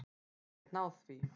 Ég get náð því.